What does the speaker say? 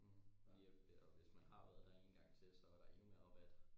mhm ja og hvis man har været der en gang til så er der endnu mere rabat